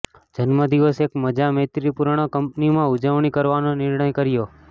જન્મદિવસ એક મજા મૈત્રીપૂર્ણ કંપનીમાં ઉજવણી કરવાનો નિર્ણય કર્યો